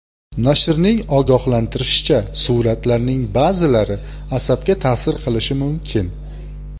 Nashrning ogohlantirishicha, suratlarning ba’zilari asabga ta’sir qilishi mumkin.